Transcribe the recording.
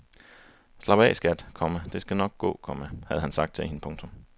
Slap af skat, komma det skal nok gå, komma havde han sagt til hende. punktum